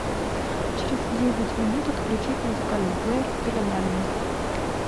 через девять минут отключить музыкальный плеер в пеленальной